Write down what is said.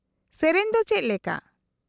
-ᱜᱮᱹᱨᱮᱹᱧ ᱫᱚ ᱪᱮᱫᱞᱮᱠᱟ ?